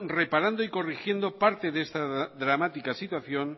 reparando y corriendo parte de esta dramática situación